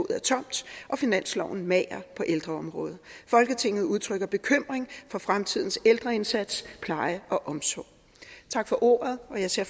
er tomt og finansloven mager på ældreområdet folketinget udtrykker bekymring for fremtidens ældreindsats pleje og omsorg tak for ordet jeg ser